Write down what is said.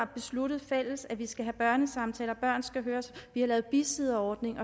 besluttet fælles at vi skal have børnesamtaler børn skal høres og vi har lavet bisidderordning